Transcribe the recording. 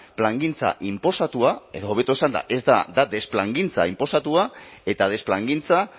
plangintza inposatua edo hobeto esanda da desplangintza inposatua eta desplangintza